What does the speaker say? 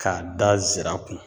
K'a da zira kun